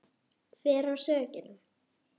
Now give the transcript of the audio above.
Hver á sökina?